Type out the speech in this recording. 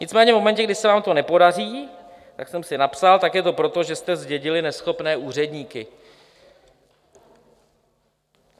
Nicméně v momentu, kdy se vám to nepodaří, jak jsem si napsal, tak je to proto, že jste zdědili neschopné úředníky.